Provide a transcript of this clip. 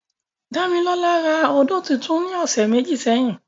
Damilola ra ódó tuntun ni ọsẹ meji sẹhin.